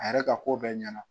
A yɛrɛ ka ko bɛɛ ɲɛna